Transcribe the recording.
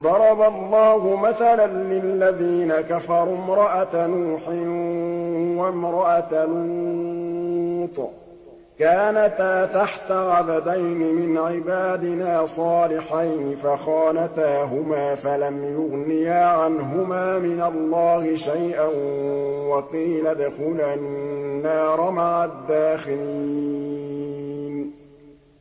ضَرَبَ اللَّهُ مَثَلًا لِّلَّذِينَ كَفَرُوا امْرَأَتَ نُوحٍ وَامْرَأَتَ لُوطٍ ۖ كَانَتَا تَحْتَ عَبْدَيْنِ مِنْ عِبَادِنَا صَالِحَيْنِ فَخَانَتَاهُمَا فَلَمْ يُغْنِيَا عَنْهُمَا مِنَ اللَّهِ شَيْئًا وَقِيلَ ادْخُلَا النَّارَ مَعَ الدَّاخِلِينَ